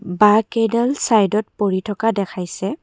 বাহঁকেইডাল চাইডত পৰি থকা দেখাইছে।